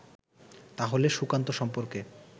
তাহলে সুকান্ত সম্পর্কে